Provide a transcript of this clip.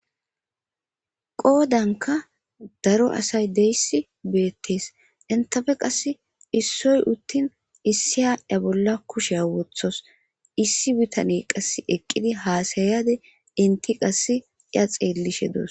qoodanka daro asay deyissi beettees entafe qass issoy uttin issiya a bolla kushea wothos issi bitani qass eqqidi haasayade inti qass iya xeellishe doos